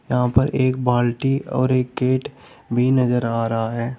यहां पर एक बाल्टी और एक गेट भी नजर आ रहा है।